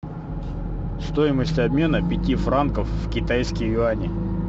стоимость обмена пяти франков в китайские юани